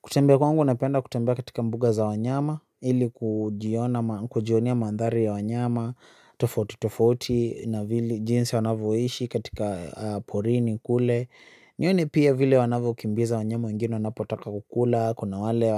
Kutembea kwangu napenda kutembea katika mbuga za wanyama, ili kujionea mandhari ya wanyama, tofauti tofauti na vili jinsi wanavyoishi katika porini kule. Nione pia vile wanavyokimbiza wanyama wengine wanapotaka kukula, kuna wale